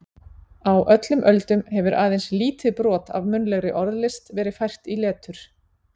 Á öllum öldum hefur aðeins lítið brot af munnlegri orðlist verið fært í letur.